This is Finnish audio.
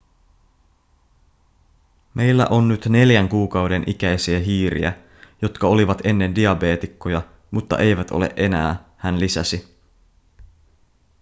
meillä on nyt 4 kuukauden ikäisiä hiiriä jotka olivat ennen diabeetikkoja mutta eivät ole enää hän lisäsi